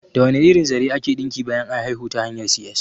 Da wane irin zare ake ɗinki bayan an haihu ta hanyar C.S?